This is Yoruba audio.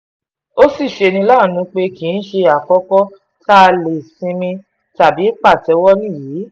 ó sì ṣe ní láàánú pé kì í ṣe àkókò tá a lè sinmi tàbí pàtẹ́wọ́ nìyí